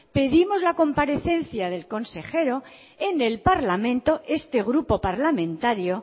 pedimos la comparecencia del consejero en el parlamento este grupo parlamentario